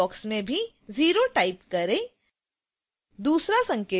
दूसरे खाली box में भी 0 type करें